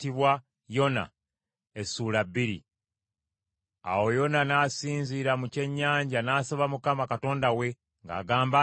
Awo Yona n’asinziira mu kyennyanja n’asaba Mukama Katonda we, ng’agamba